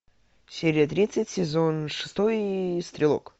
серия тридцать сезон шестой стрелок